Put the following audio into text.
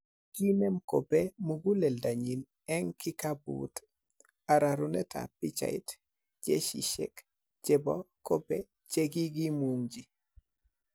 Kiinem Kobe muguleldanyin en kikabut, arorunet ab pichait, Jesishek chebo Kobe che kigimungchi.